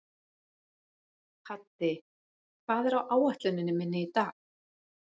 Haddi, hvað er á áætluninni minni í dag?